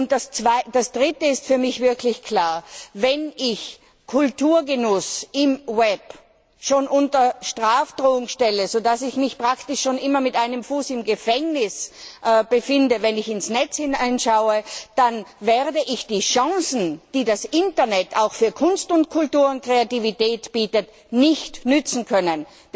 Das Dritte ist für mich wirklich klar Wenn ich Kulturgenuss im Web schon unter Strafandrohung stelle, so dass ich mich praktisch schon immer mit einem Bein im Gefängnis befinde, wenn ich ins Netz hineinschaue, dann werde ich die Chancen, die das Internet auch für Kunst und Kultur und Kreativität bietet, nicht nützen können.